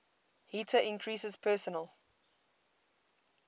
heater increases personal